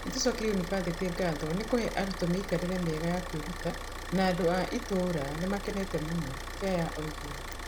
“ Nĩtũcokeria yunibathĩtĩ ngatho nĩ kũhe arutwo mĩikarĩre mĩega ya kwĩruta, na andũ a itũũra nĩ makenete mũno", Keah oigire.